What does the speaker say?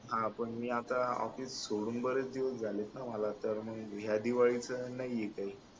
हा पण मी आता ऑफिस सोडून बरेच दिवस झाले झालेत ना मला तर मग या दिवाळीचा नाहीये काही